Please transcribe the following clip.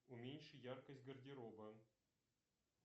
уменьши яркость гардероба